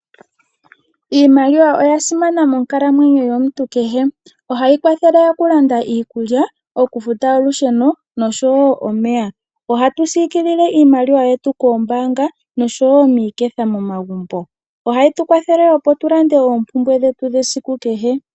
Iimaliwa oya simana monkalamweyo yomuntu kehe. Ohayi kwathele okulanda iikulya, okufuta olusheno noshowo omeya. Ohatu sikilile iimaliwa yetu koombanga noshowo miiketha momagumbo. Ohayi tu kwathele opo tu lande oompumbwe dhetu dhesiku kehe.